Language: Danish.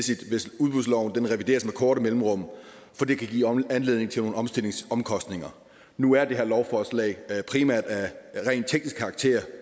korte mellemrum for det kan give anledning til nogle omstillingsomkostninger nu er det her lovforslag primært af rent teknisk karakter